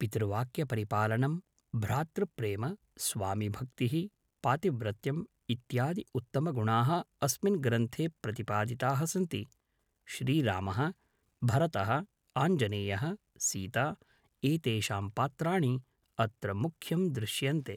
पितृवाक्यपरिपालनं भ्रातृप्रेम स्वामिभक्तिः पातिव्रत्यम् इत्यादि उत्तमगुणाः अस्मिन् ग्रन्थे प्रतिपादिताः सन्ति श्रीरामः भरतः आञ्जनेयः सीता एतेषां पात्राणि अत्र मुख्यं दृश्यन्ते